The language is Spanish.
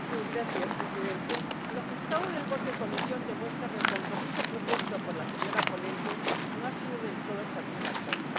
Señor Presidente, lo ajustado de la votación en comisión demuestra que el compromiso propuesto por la señora ponente no ha sido del todo satisfactorio.